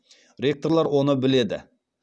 ректорлар оны біледі